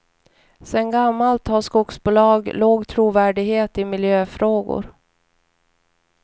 Sedan gammalt har skogsbolag låg trovärdighet i miljöfrågor.